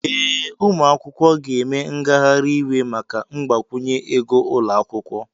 Ee, ụmụ akwụkwọ ga-eme ngagharị iwe maka mgbakwunye ego ụlọ akwụkwọ.